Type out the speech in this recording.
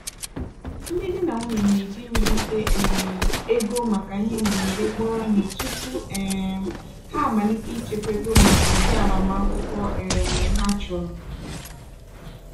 ndị di na nwunye na-eji iwulite um ego maka ihe mberede kpọrọ ihe tupu um ha amalite ichekwa ego maka ụdị agbamakwụkwọ um ha chọrọ.